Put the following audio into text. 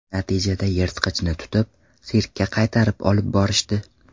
Natijada yirtqichni tutib, sirkka qaytarib olib borishdi.